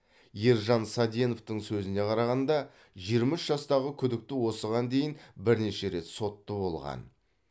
ержан саденовтің сөзіне қарағанда жиырма үш жастағы күдікті осыған дейін бірнеше рет сотты болған